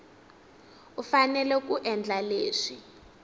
u fanele ku endla leswi